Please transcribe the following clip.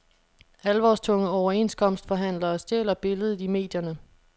Alvorstunge overenskomstforhandlere stjæler billedet i medierne.